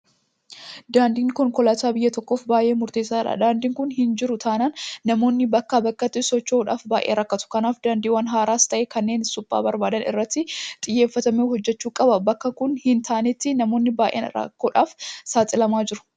Daandiin konkolaataa biyya tokkoof baay'ee murteessaadha. Daandiin kun hinjiru taanaan namoonni bakkaa bakkatti socho'uudhaaf baay'ee rakkatu. Kanaaf daandiiwwan haaraas ta'ee kanneen suphaa barbaadan irratti xiyyeeffatamee hojjetamuu qaba. Bakka kun hin taanetti namoonni baay'een rakkoodhaaf saaxilamaa jiru.